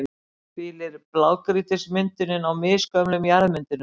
hvílir blágrýtismyndunin á misgömlum jarðmyndunum.